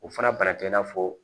O fana banan tɛ i n'a fɔ